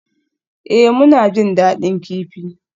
Ee, muna jin daɗin kifi.